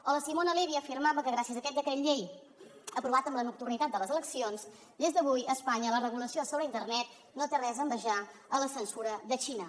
o la simona levi afirmava que gràcies a aquest decret llei aprovat amb la nocturnitat de les eleccions des d’avui a espanya la regulació sobre internet no té res a envejar a la censura de la xina